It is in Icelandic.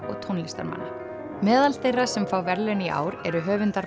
og tónlistarmanna meðal þeirra sem fá verðlaun í ár eru höfundar